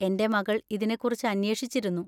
എന്‍റെ മകൾ ഇതിനെക്കുറിച്ച് അന്വേഷിച്ചിരുന്നു.